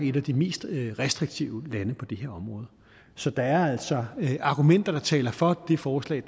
et af de mest restriktive lande på det her område så der er altså argumenter der taler for det forslag